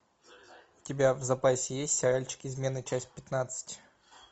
у тебя в запасе есть сериальчик измена часть пятнадцать